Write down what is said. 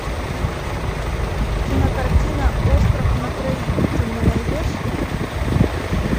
кинокартина остров на троих ты мне найдешь